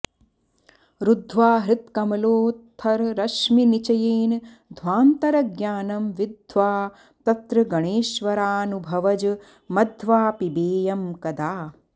रुद्ध्वा हृत्कमलोत्थरश्मिनिचयेन ध्वान्तरज्ञानं विद्ध्वा तत्र गणेश्वरानुभवज मध्वापिबेयं कदा